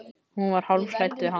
Hún var hálf hrædd við hann.